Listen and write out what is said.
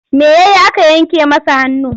Me ya yi aka yanke masa hannu?